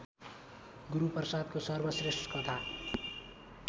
गुरूप्रसादको सर्वश्रेष्ठ कथा